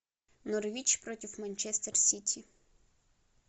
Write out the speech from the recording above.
норвич против манчестер сити